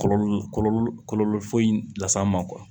Kɔlɔlɔ kɔlɔlɔ foyi las'an ma